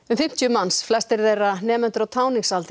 fimmtíu manns flestir þeirra nemendur á táningsaldri